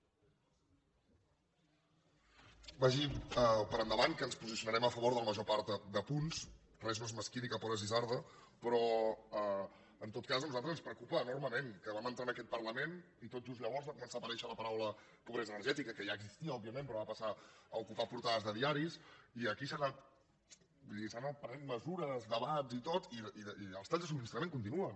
vagi per endavant que ens posicionarem a favor de la major part de punts res no és mesquí ni cap hora és isarda però en tot cas a nosaltres ens preocupa enormement que vam entrar en aquest parlament i tot just llavors va començar a aparèixer la paraula pobresa energètica que ja existia òbviament però va passar a ocupar les portades de diaris i aquí s’han anat prenent mesures debats i tot i els talls de subministrament continuen